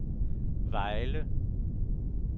Vejle